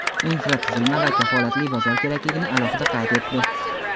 infratuzilma va kafolatli bozor kerakligini alohida qayd etdi.